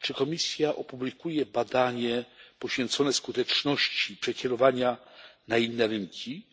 Czy Komisja opublikuje badanie poświęcone skuteczności przekierowania na inne rynki